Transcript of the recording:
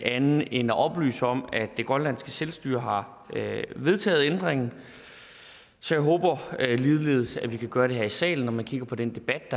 andet end at oplyse om at det grønlandske selvstyre har vedtaget ændringen så jeg håber at vi ligeledes kan gøre det her i salen når man kigger på den debat